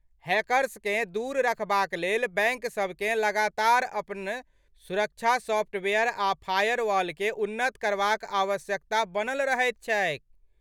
हैकर्सकेँ दूर रखबाक लेल बैंकसभकेँ लगातार अपन सुरक्षा सॉफ्टवेयर आ फायरवॉलकेँ उन्नत करबाक आवश्यकता बनल रहैत छैक।